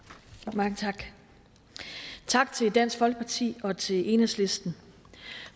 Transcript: mange tak tak til dansk folkeparti og til enhedslisten